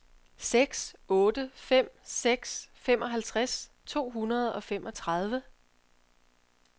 seks otte fem seks femoghalvtreds to hundrede og femogtredive